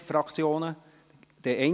– Das ist nicht der Fall.